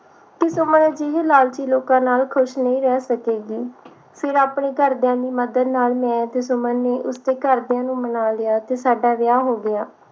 ਕਿ ਸੁਮਨ ਅਜਿਹੇ ਲਾਲਚੀ ਲੋਕਾਂ ਨਾਲ ਖੁਸ਼ ਨਹੀਂ ਰਹਿ ਸਕੇਗੀ ਫਿਰ ਆਪਣੇ ਘਰਦਿਆਂ ਦੀ ਮਦਦ ਨਾਲ ਮੈਂ ਤੇ ਸੁਮਨ ਨੇ ਉਸਦੇ ਘਰਦਿਆਂ ਨੂੰ ਮਨਾ ਲਿਆ ਤੇ ਸਾਡਾ ਵਿਆਹ ਹੋ ਗਿਆ